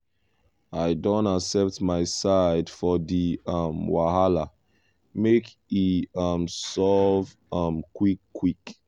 i don accept my side for di um wahala make e um solve um quick quick.